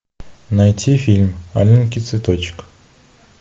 найти фильм аленький цветочек